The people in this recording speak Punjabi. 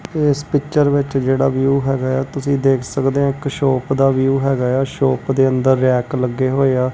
ਇਸ ਪਿੱਚਰ ਵਿੱਚ ਜਿਹੜਾ ਵਿਊ ਹੈਗਾ ਤੁਸੀਂ ਦੇਖ ਸਕਦੇ ਹ ਇੱਕ ਸ਼ੋਪ ਦਾ ਵਿਊ ਹੈਗਾ ਆ ਸ਼ੋਪ ਦੇ ਅੰਦਰ ਰੈਕ ਲੱਗੇ ਹੋਏ ਆ।